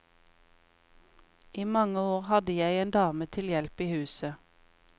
I mange år hadde jeg en dame til hjelp i huset.